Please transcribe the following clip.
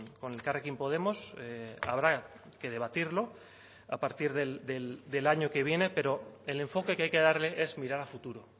con elkarrekin podemos habrá que debatirlo a partir del año que viene pero el enfoque que hay que darle es mirar a futuro